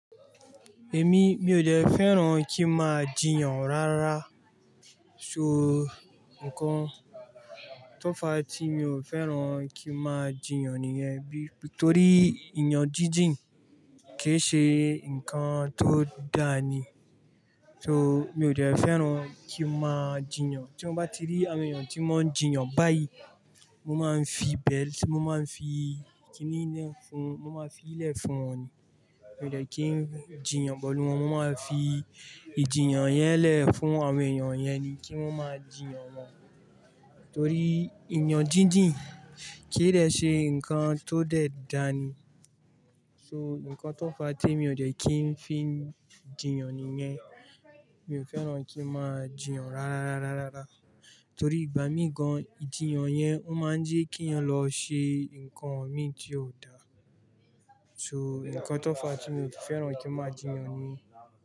Èmi mi ò dẹ̀ fẹ́ràn kí n máa jiyàn rárá. So nǹkan tó fa tí mi ò fẹ́ràn kí n máa jiyàn nìyẹn bí, torí ìyàn jíjìn kì í ṣe nǹkan tó dà ni. So mi ò dẹ̀ fẹ́ràn kí n máa jiyàn. Tí mo bá ti rí àwọn èèyàn tí wọ́n ń jiyàn báyìí, mo máa ń fi ibẹ̀, mo máa ń fi kíníi lẹ̀ fún, mo máa ń fii lẹ̀ fún wọn ni. Mi ò dẹ̀ kí n jiyàn pẹ̀lù wọn, mo máa ń fi ìjiyàn yẹn lẹ̀ fún àwọn èèyàn yẹn ni kí wọ́n máa jiyàn wọn. Torí ìyàn jíjìn kìí dẹ ṣe nǹkan tó dẹ̀ dà ni. So nǹkan tó fa tí mi ò dẹ́ kí n fi n jiyàn nìyẹn. Mi ò fẹ́ràn kí n máa jiyàn rárá, rárá, rárá. Torí ìgbà mií gan, ìjiyàn yẹn ó máa ń jẹ́ kí ènìyàn lọ ṣe nǹkan míi tí ò da. So nǹkan tó fa tí mi ò fẹ́ràn kí n máa jiyàn ni.